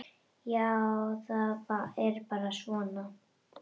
Já, það er bara svona.